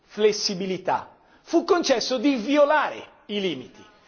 flessibilità bensì fu concesso di violare i limiti.